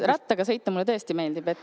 Rattaga sõita mulle tõesti meeldib.